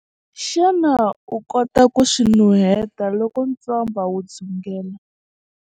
Xana u kota ku swi nuheta loko ntswamba wu dzungela?